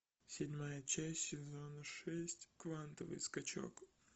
седьмая часть сезона шесть квантовый скачок